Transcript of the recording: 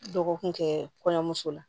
Dɔgɔkun kɛ kɔɲɔmuso la